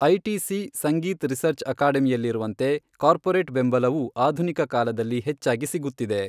ITC Sangeet research ಅಕಾಡೆಮಿಯಲ್ಲಿರುವಂತೆ corporate ಬೆಂಬಲವೂ ಆಧುನಿಕ ಕಾಲದಲ್ಲಿ ಹೆಚ್ಚಾಗಿ ಸಿಗುತ್ತಿದೆ.